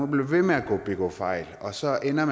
ved med at begå fejl og så ender